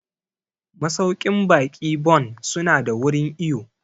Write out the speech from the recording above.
Masauƙin baƙi Bon su na da wurin iwo